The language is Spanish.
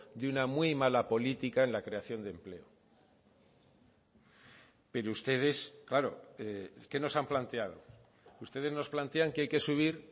de una muy mala política en la creación de empleo pero ustedes claro qué no se han planteado ustedes nos plantean que hay que subir